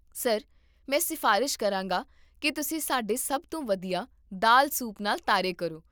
sir, ਮੈਂ ਸਿਫ਼ਾਰਸ਼ ਕਰਾਂਗਾ ਕਿ ਤੁਸੀਂ ਸਾਡੇ ਸਭ ਤੋਂ ਵਧੀਆ ਦਾਲ ਸੂਪ ਨਾਲ ਤਾਰੇ ਕਰੋ